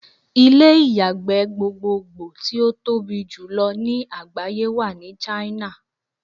Ilé ìyàgbẹ́ gbogbogbò tí ó tobí jùlọ ní àgbáyé wà ní China.